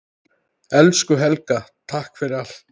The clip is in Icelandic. Elsku Helga, takk fyrir allt.